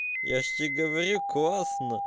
я же тебе говорю классно